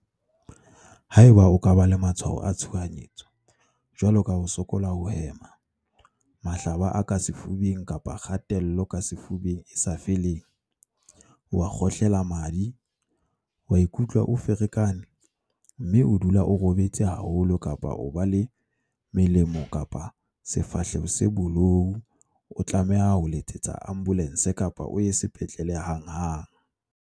Haeba o ka ba le matshwao a tshohanyetso, jwalo ka ho sokola ho hema, mahlaba a ka sefubeng kapa kgatello ka sefubeng e sa feleng, wa kgohlela madi, wa ikutlwa o ferekane, mme o dula o robetse haholo kapa o ba le melomo kapa sefahleho se bolou o tlameha ho letsetsa ambolense kapa o ye sepetlele hanghang.